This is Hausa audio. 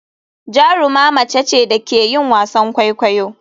Jaruma mace ce da ke yin wasan kwaikwayo.